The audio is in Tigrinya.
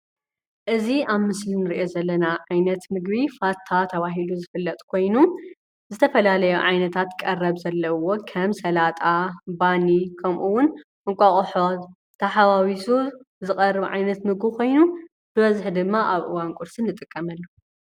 እዚ ኣብ ምስሊ ንርኦ ዘለና ዓይነት ምግቢ ፋታ ተበሂሉ ዝፍለጥ ኮይኑ ዝተፈላለዩ ዓይነታት ቀረብ ዘለዎ ከም ስላጣ፣ ባኒ ፣ከምኡ እውን ፣እንቋቆሖ ተሓዋውሱ ዝቀርብ ዓይነት ምግብ ኮይኑ ብብዝሕ ድማ ኣብ እዋን ቁርሲ ንጥቀመሉ።